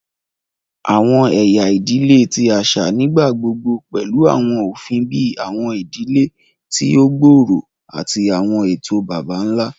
Awọn ẹya idile ti aṣa nigbagbogbo pẹlu awọn ofin bii awọn idile ti o gbooro ati awọn eto baba-nla.